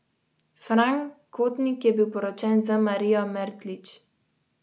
Fran Kotnik je bil poročen z Marijo Mertlič.